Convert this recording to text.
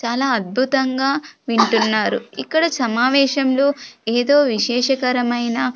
చాలా అద్భుతంగా వింటున్నారు ఇక్కడ సమావేశంలో ఏదో విశేష కరమైన--